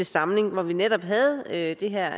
samling hvor vi netop havde havde det her